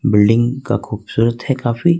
Building का खूबसूरत है काफी।